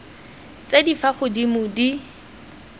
tse di fa godimo di